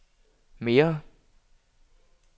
mere